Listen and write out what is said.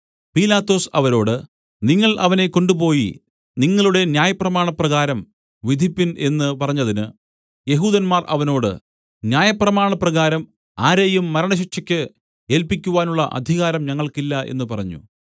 പീലാത്തോസ് അവരോട് നിങ്ങൾ അവനെ കൊണ്ടുപോയി നിങ്ങളുടെ ന്യായപ്രമാണപ്രകാരം വിധിപ്പിൻ എന്നു പറഞ്ഞതിന് യെഹൂദന്മാർ അവനോട് ന്യായപ്രമാണപ്രകാരം ആരെയും മരണശിക്ഷയ്ക്ക് ഏൽപ്പിക്കുവാനുള്ള അധികാരം ഞങ്ങൾക്കില്ല എന്നു പറഞ്ഞു